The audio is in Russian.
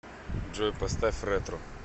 джой поставь ретро